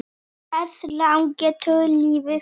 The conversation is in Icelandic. Hversu langt getur liðið farið?